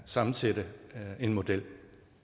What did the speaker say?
sammensætte en model